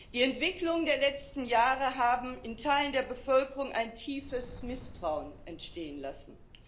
Die Entwicklungen der letzten Jahre haben in Teilen der Bevölkerung ein tiefes Misstrauen entstehen lassen.